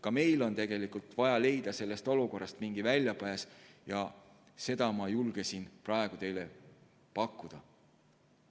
Ka meil on tegelikult vaja leida sellest olukorrast mingi väljapääs ja seda ma julgesin praegu teile pakkuda.